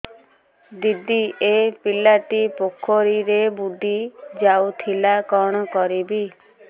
ଦିଦି ଏ ପିଲାଟି ପୋଖରୀରେ ବୁଡ଼ି ଯାଉଥିଲା କଣ କରିବି